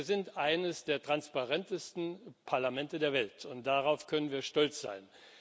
Also sind wir eines der transparentesten Parlamente der Welt, und darauf können wir stolz sein.